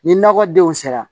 Ni nakɔdenw sera